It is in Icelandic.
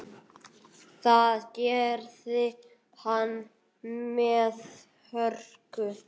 Það gerði hann með hörku.